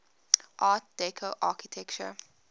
art deco architecture